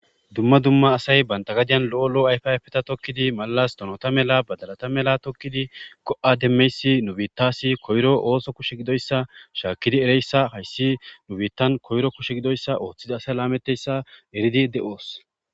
Dumma dumma asay banta gadiyan lo'o lo'o ayfayfeta tokkidi malalas donota mela badalata mela tokkidi go'a demmeysi nubittasi koyro ooso kushe gidoyssa shaakkidi ereyssa hayssi nubitan koyro kushe gidoyssa ooththida asa laametteyssa eridi de'oos.